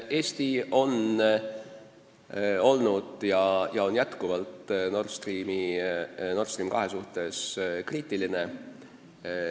Eesti on olnud ja on edaspidigi jätkuvalt Nord Stream 2 suhtes kriitiline.